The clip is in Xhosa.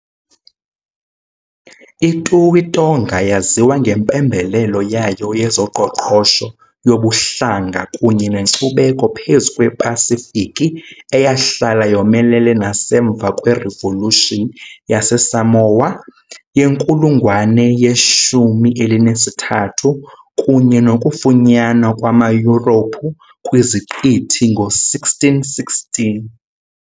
I-Tuʻi Tonga yaziwa ngempembelelo yayo yezoqoqosho, yobuhlanga, kunye nenkcubeko phezu kwePasifiki, eyahlala yomelele nasemva kweRevolution yaseSamoa yenkulungwane ye-13 kunye nokufunyanwa kwamaYurophu kwiziqithi ngo-1616